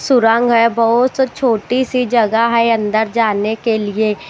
सुरंग है बहुत छोटी सी जगह है अंदर जाने के लिए।